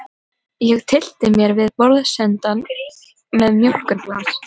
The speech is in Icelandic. Ég tyllti mér við borðsendann með mjólkurglas.